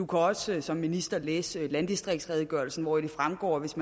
kan også som minister læse landdistriktsredegørelsen hvoraf det fremgår at hvis